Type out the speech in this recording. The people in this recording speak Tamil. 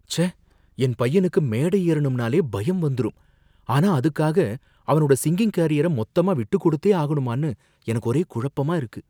ச்சே! என் பையனுக்கு மேடை ஏறணும்னாலே பயம் வந்துரும், ஆனா அதுக்காக அவனோட சிங்கிங் கரியர மொத்தமா விட்டுக் கொடுத்தே ஆகணுமான்னு எனக்கு ஒரே குழப்பமா இருக்கு.